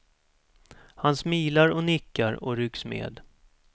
Han smilar och nickar och rycks med.